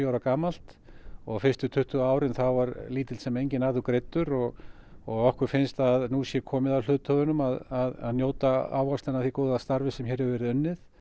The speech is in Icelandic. ára gamalt og fyrstu tuttugu árin þá var lítill sem enginn arður greiddur og og okkur finnst að nú sé komið að hluthöfunum að njóta ávaxtanna af því góða starfi sem hér hefur verið unnið